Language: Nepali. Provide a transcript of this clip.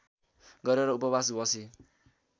गरेर उपवास बसी